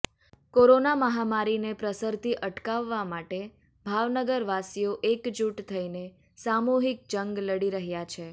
corona મહામારીને પ્રસરતી અટકાવવા માટે ભાવનગરવાસીઓ એકઝૂટ થઈને સામૂહિક જંગ લડી રહ્યા છે